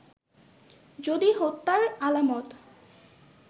যদি হত্যার আলামত